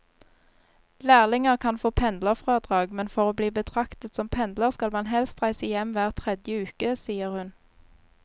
Lærlinger kan få pendlerfradrag, men for å bli betraktet som pendler skal man helst reise hjem hver tredje uke, sier hun.